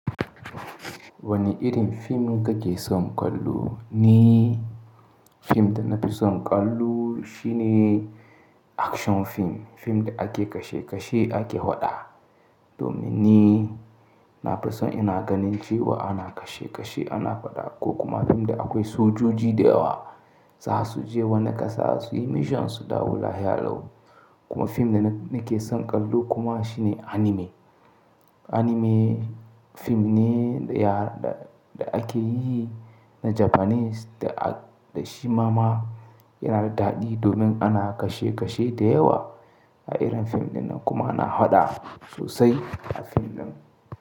Wani irin film kake son kallo? Ni film da nafi son kallo shine action film. Fim da ake kashe kashe ake fa ɗa. Domin ni nafi son ina ganin cewa ana kashe kashe ana faɗa ko kuma film da akwai sojoji da yawa za su je wani ƙasa su yi mission su dawo lahiya lau. Kuma fim da nake son kallo kuma shine anime. Anime film ne da ake yi na Japanese da acc da shi ma ma yana da daɗi domin ana kashe kashe da yawa a irin fim dinnan kuma ana faɗa sosai a film din.